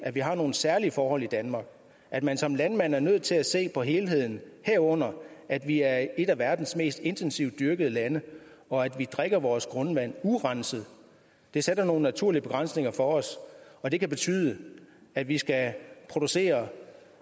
at vi har nogle særlige forhold i danmark at man som landmand er nødt til at se på helheden herunder at vi er et af verdens mest intensivt dyrkede lande og at vi drikker vores grundvand urenset det sætter nogle naturlige begrænsninger for os og det kan betyde at vi skal producere